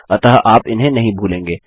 अतः आप इन्हें नहीं भूलेंगे